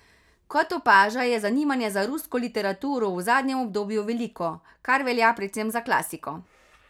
Kot opaža, je zanimanje za rusko literaturo v zadnjem obdobju veliko, kar velja predvsem za klasiko.